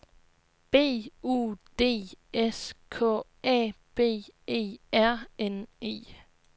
B U D S K A B E R N E